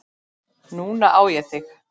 Núna á ég þig.